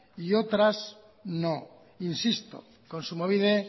y otras no insisto kontsumobide